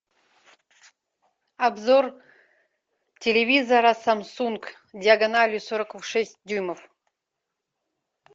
обзор телевизора самсунг диагональю сорок шесть дюймов